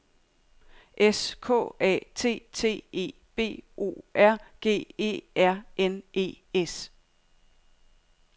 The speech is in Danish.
S K A T T E B O R G E R N E S